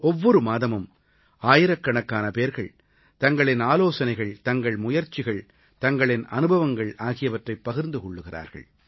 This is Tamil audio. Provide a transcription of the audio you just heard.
ஒவ்வொரு மாதமும் ஆயிரக்கணக்கான பேர்கள் தங்களின் ஆலோசனைகள் தங்கள் முயற்சிகள் தங்களின் அனுபவங்கள் ஆகியவற்றைப் பகிர்ந்து கொள்கிறார்கள்